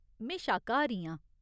में शाकाहारी आं।